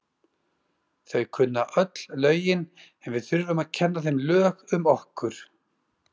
Þau kunna öll lögin en við þurfum að kenna þeim lög um okkur.